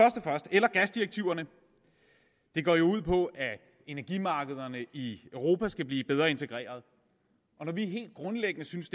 gasdirektiverne går jo ud på at energimarkederne i europa skal blive bedre integreret når vi helt grundlæggende synes